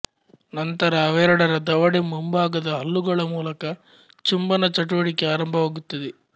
ನಂತರ ಅವೆರಡರ ದವಡೆ ಮುಂಭಾಗದ ಹಲ್ಲುಗಳ ಮೂಲಕ ಚುಂಬನ ಚಟುವಟಿಕೆ ಆರಂಭವಾಗುತ್ತದೆ